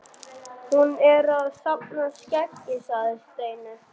Hún er kannski að safna skeggi sagði Steini.